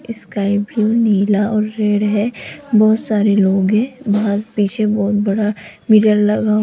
sky भी नीला और रेड है बहोत सारे लोग हैं बाहर पीछे बहोत बडा मिरर लगाव --